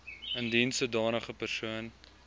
indien sodanige persoon